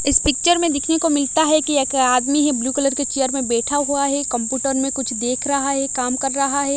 इस पिक्चर में देखने को मिलता है कि एक आदमी है ब्लू कलर के चेयर में बैठा हुआ है कंपूटर में कुछ देख रहा है काम कर रहा है।